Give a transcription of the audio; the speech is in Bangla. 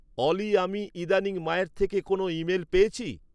অলি আমি ইদানীং মায়ের থেকে কোনও ইমেল পেয়েছি?